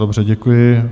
Dobře, děkuji.